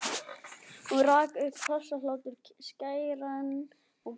Og rak upp hrossahlátur, skæran og gjallandi.